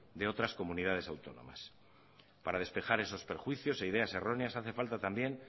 de otras comunidades autónomas para despejar esos prejuicios e ideas erróneas hace falta también